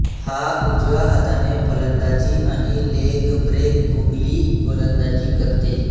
हा उजव्या हाताने फलंदाजी आणि लेगब्रेकगूगली गोलंदाजी करते